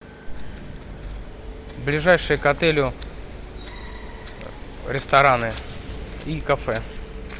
ближайшие к отелю рестораны и кафе